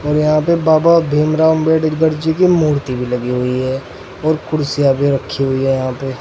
और यहाँ पे बाबा भीमराव अंबेडकर जी की मूर्ति भी लगी हुई है और कुर्सियां भी रखी हुई हैं यहां पे।